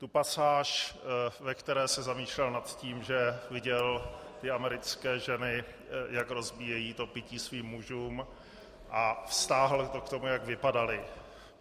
Tu pasáž, ve které se zamýšlel nad tím, že viděl ty americké ženy, jak rozbíjejí to pití svým mužům, a vztáhl to k tomu, jak vypadaly.